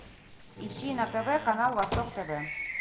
ищи на тв канал восток тв